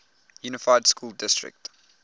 unified school district